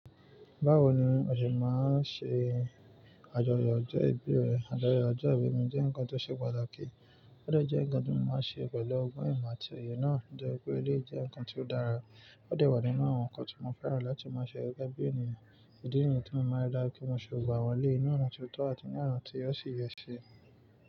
Báwo ni ó ṣe máa ṣe àjọyọ̀ ọjọ́ ìbí rẹ? Àjọyọ̀ ọjọ́ ìbí mi jẹ́ ǹkan tó ṣe pàtàkì, ó dẹ̀ jẹ ǹkan tó máa ṣe pẹ̀lú ọgbọ́n ìmọ̀ àti òye náà. Tí o jẹ́ wípé eleyii jẹ́ ǹkan tó dára, ó dẹ̀ wà nínú àwọn ǹkan tí mo fẹ́ràn láti máa ṣe gẹ́gẹ́ bí ènìyàn. Ìdí nìyí tí mo máa ri dájú pé mo ṣe gbogbo àwọn eléyìí, ní ọ̀nà tí ó tọ́ àti ní ọ̀nà tí ẹ ó ṣi yẹ ṣe.